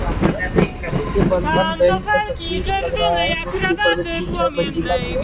ये बंधन बैंक का तस्वीर लग रहा है भी है।